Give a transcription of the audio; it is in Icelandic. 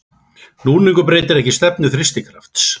Núningur breytir ekki stefnu þrýstikrafts.